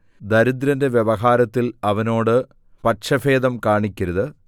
ദരിദ്രന്റെ വ്യവഹാരത്തിൽ അവനോട് പക്ഷഭേദം കാണിക്കരുത്